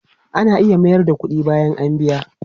Ana iya mayar da kudi bayan a biya?